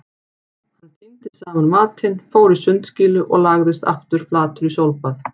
Hann tíndi saman matinn, fór í sundskýlu og lagðist aftur flatur í sólbað.